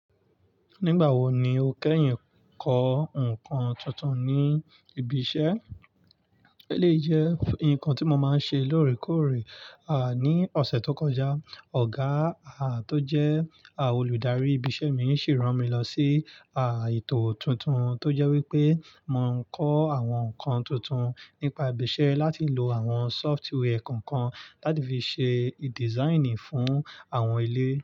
Nígbà wo ni o kẹ́yìn ń kọ ǹkan tuntun ní ibi iṣẹ́? Éleyi jẹ́ ǹkan tí mo máa ń ṣe lóòrèkóòrè, à ní ọ̀sẹ̀ tó kọjá, ọ̀gáà tó jẹ́ àwon olùdarí ibi iṣẹ́ mi sì rán mi lọ sí ìtò tuntun tó jẹ́ wípé mo ń kọ àwọn ǹkan tuntun, nípa ibi iṣẹ́ láti lò àwọn software kọ̀ọ̀kan láti fi ṣe design fún àwọn ilé.